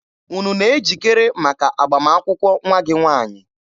Unu na-ejikere maka agbamakwụkwọ nwa gị nwaanyị?